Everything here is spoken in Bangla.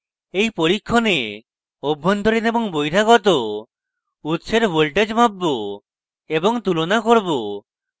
in পরীক্ষণে অভ্যন্তরীণ এবং বহিরাগত উৎসের voltages মাপবো এবং তুলনা করব